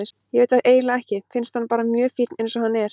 Ég veit það eiginlega ekki, finnst hann bara mjög fínn eins og hann er.